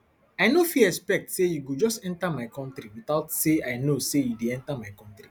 i no fit expect say you go just enta my kontri witout say i know say you dey enta my kontri